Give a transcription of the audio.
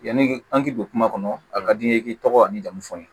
Yanni an k'i don kuma kɔnɔ a ka di ye i k'i tɔgɔ ni jamu fɔ n ye